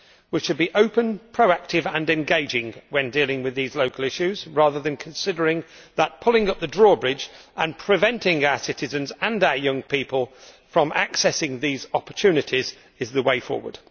We should be open, proactive and engaging when dealing with these local issues, rather than considering that pulling up the drawbridge and preventing our citizens and our young people from accessing these opportunities is the way forward.